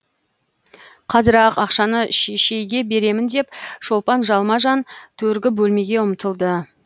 қазір ақ ақшаны шешейге беремін деп шолпан жалма жан төргі бөлмеге ұмтылды